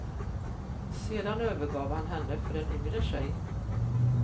Sedan övergav han henne för en yngre tjej.